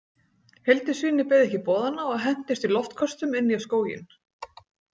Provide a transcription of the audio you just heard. Hildisvíni beið ekki boðanna og hentist í loftköstum inn í skóginn.